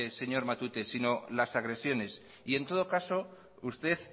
señor matute sino las agresiones y en todo caso usted